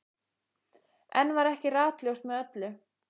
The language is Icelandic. Enn var ekki ratljóst með öllu.